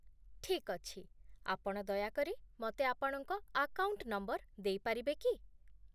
ଠିକ୍ ଅଛି। ଆପଣ ଦୟାକରି ମତେ ଆପଣଙ୍କ ଆକାଉଣ୍ଟ ନମ୍ବର ଦେଇପାରିବେ କି?